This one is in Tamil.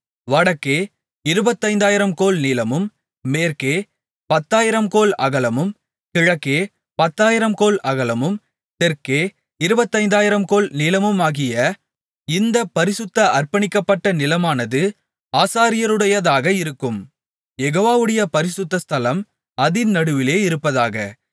வடக்கே இருபத்தைந்தாயிரம் கோல் நீளமும் மேற்கே பத்தாயிரம்கோல் அகலமும் கிழக்கே பத்தாயிரம்கோல் அகலமும் தெற்கே இருபத்தைந்தாயிரம் கோல் நீளமுமாகிய இந்தப் பரிசுத்த அர்ப்பணிக்கப்பட்ட நிலமானது ஆசாரியருடையதாக இருக்கும் யெகோவாவுடைய பரிசுத்த ஸ்தலம் அதின் நடுவிலே இருப்பதாக